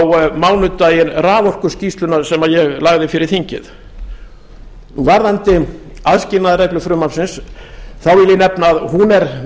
á mánudaginn raforkuskýrsluna sem ég lagði fyrir þingið varðandi aðskilnaðarreglu frumvarpsins vil ég nefna að hún er